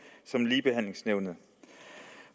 som ligebehandlingsnævnet